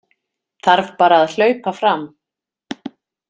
Þarf bara að hlaupa fram